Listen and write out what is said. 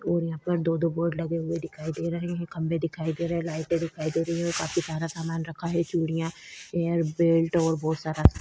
और यहाँ पर दो-दो बोर्ड लगे हुए दिखाई दे रहे हैं। खम्बे दिखाई दे रहे हैं। लाइटें दिखाई दे रही हैं। काफी ज्यादा सामान रखा है। चूड़ियाँ एयर बेल्ट और बोहोत सारा --